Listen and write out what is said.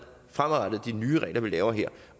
fremadrettet de nye regler vi laver her